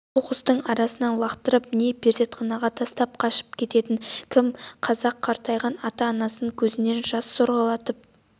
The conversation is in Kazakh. қоқсықтың арасына лақтырып не перзентханаға тастап қашып кететін кім қазақ қартайған ата-анасын көзінен жасын сорғалатып